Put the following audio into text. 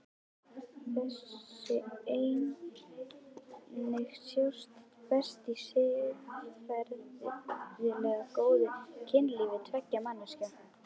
Þessi eining sjáist best í siðferðilega góðu kynlífi tveggja manneskja.